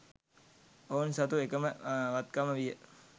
ඔවුන් සතු වූ එකම වත්කම විය